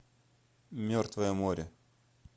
мертвое море